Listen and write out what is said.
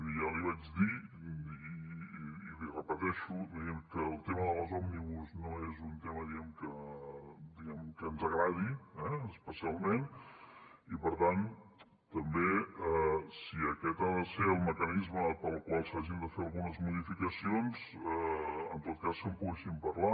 ja li vaig dir i l’hi repeteixo diguem ne que el tema de les òmnibus no és un tema que ens agradi eh especialment i per tant també si aquest ha de ser el mecanisme pel qual s’hagin de fer algunes modificacions en tot cas que en poguéssim parlar